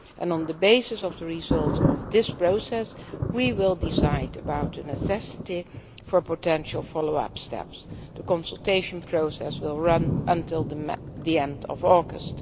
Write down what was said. On the basis of the results of this process we will decide on the necessity for potential follow up steps. The consultation process will run until the end of August.